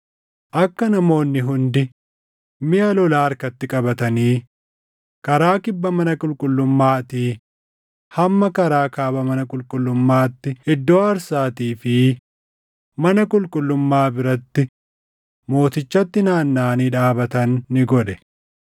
Akka namoonni hundi miʼa lolaa harkatti qabatanii karaa kibba mana qulqullummaatii hamma karaa kaaba mana qulqullummaatti iddoo aarsaatii fi mana qulqullummaa biratti mootichatti naannaʼanii dhaabatan ni godhe.